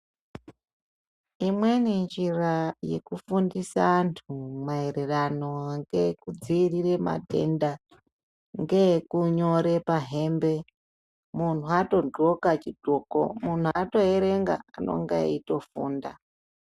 Imweni njira yekufundisa antu maererano nekudziirire matenda ngeyekunyora pahembe. Munhu atodxoka chidxoko munhu atoerega anenge eitofunda.